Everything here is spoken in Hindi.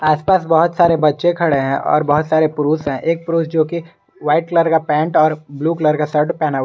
आसपास बहुत सारे बच्चे खड़े हैं और बहुत सारे पुरुष हैं एक पुरुष जो की वाइट कलर का पैंट और ब्लू कलर का शर्ट पहना--